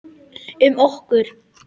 Um okkur.